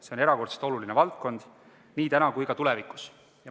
See on erakordselt oluline valdkond nii täna kui ka tulevikus.